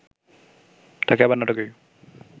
তাকে আবার নাটকেই